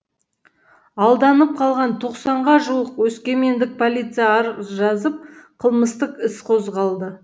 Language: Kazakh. алданып қалған тоқсанңға жуық өскемендік полицияға арыз жазып қылмыстық іс қозғалды